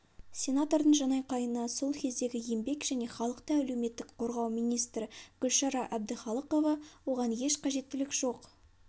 сенатордың жанайқайына сол кездегі еңбек және халықты әлеуметтік қорғау министрі гүлшара әбдіхалықова оған еш қажеттілік жоқ